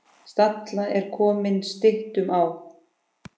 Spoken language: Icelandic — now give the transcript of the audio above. Stalla er komið styttum á.